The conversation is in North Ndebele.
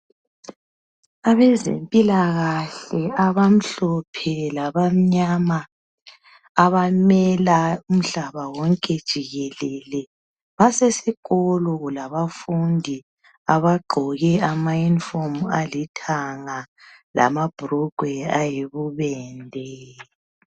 Abezempilakahle abamhlophe labamnyama abamela umhlaba wonke jikelele basesikolo labafundi abagqoke amayunifomu alithanga lamabrugwe ayibubende.